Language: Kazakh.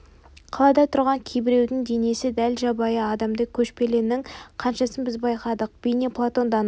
қалада тұрған кейбіреудің бейнесі дәл жабайы адамдай көшпелінің қаншасын біз байқадық бейне платон данадай